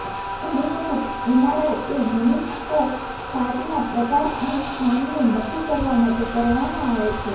ઘણી વખત એમઆરઆઈ એ મેનિસ્ક્સ ફાટના પ્રકાર અને સ્થાનને નક્કી કરવા માટે કરવામાં આવે છે